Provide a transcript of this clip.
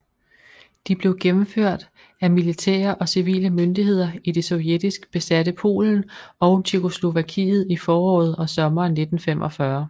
De blev gennemført af militære og civile myndigheder i det sovjetisk besatte Polen og Tjekkoslovakiet i foråret og sommeren 1945